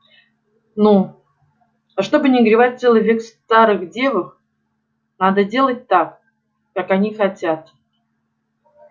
ну а чтоб не горевать целый век в старых девах надо делать так как они хотят